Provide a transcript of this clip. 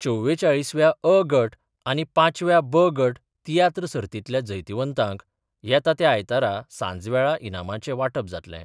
चवेचाळीसव्या अ गट आनी पांचव्या ब गट तियात्र सततल्या जैतवंतांक येता त्या आयतारा सांजवेळा इनामांचें वांटप जातलें.